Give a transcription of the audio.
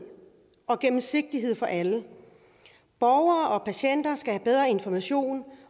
og gennemsigtighed for alle borgere og patienter skal have bedre information